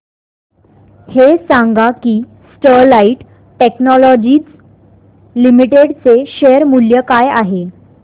हे सांगा की स्टरलाइट टेक्नोलॉजीज लिमिटेड चे शेअर मूल्य काय आहे